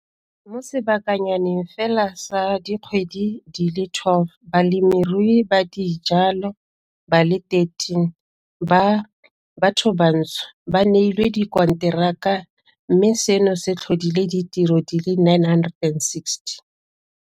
Mo sebakanyaneng fela sa dikgwedi di le 12, balemirui ba dijalo ba le 13 ba bathobantsho ba neilwe dikonteraka mme seno se tlhodile ditiro di le 960.